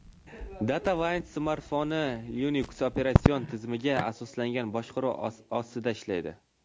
DataWind smartfoni Linux operatsion tizimiga asoslangan boshqaruv ostida ishlaydi.